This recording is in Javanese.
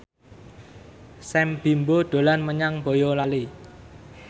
Sam Bimbo dolan menyang Boyolali